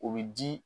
O bɛ di